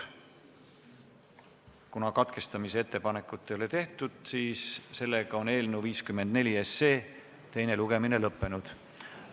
Kuna katkestamisettepanekut ei ole tehtud, siis on eelnõu 54 teine lugemine lõppenud.